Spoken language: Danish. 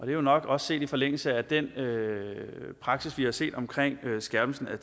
er jo nok også set i forlængelse af den praksis vi har set omkring skærpelsen af